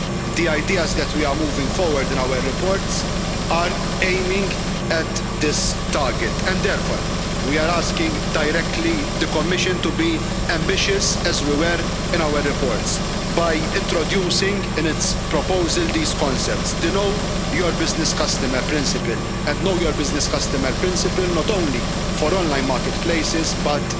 The ideas that we are moving forward in our reports are aiming at this target. Therefore we are directly asking the Commission to be ambitious, as we were in our reports, by introducing in its proposal these concepts know your business customer principle, and know your business customer principle not only for online marketplaces but